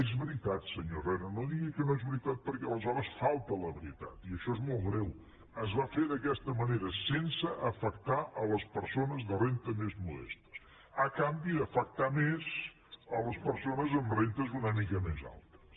és veritat senyor herrera no digui que no és veritat perquè aleshores falta a la veritat i això és molt greu es va fer d’aquesta manera sense afectar les persones de renda més modestes a canvi d’afectar més a les persones amb rendes una mica més altes